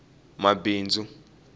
mabindzu